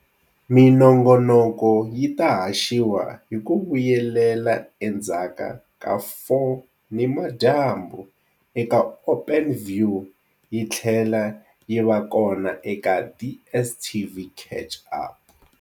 Minongonoko yi ta haxiwa hi ku vuyelela endzhaku ka 4 nimadyambu eka Openview yi tlhela yi va kona eka DSTV Catch-Up.